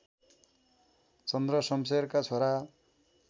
चन्द्रसम्शेरका छोरा